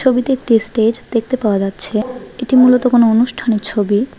ছবিতে একটি স্টেজ দেখতে পাওয়া যাচ্ছে এটি মূলত কোন অনুষ্ঠানের ছবি।